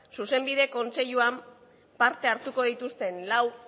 zuzenbide kontseiluan parte hartuko dituzten lau